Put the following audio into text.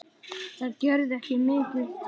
Það gerði ekki mikið til.